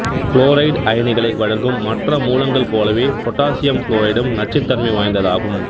fluoride அயனிகளை வழங்கும் மற்ற மூலங்கள் போலவே பொட்டாசியம் புளோரைடும் நச்சுத் தன்மை வாய்ந்ததாகும்